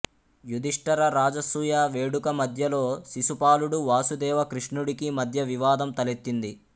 యుధిష్ఠిర రాజసూయ వేడుక మధ్యలో శిశుపాలుడు వాసుదేవ కృష్ణుడికి మధ్య వివాదం తలెత్తింది